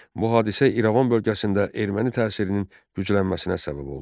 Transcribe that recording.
Bu hadisə İrəvan bölgəsində erməni təsirinin güclənməsinə səbəb oldu.